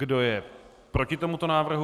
Kdo je proti tomuto návrhu?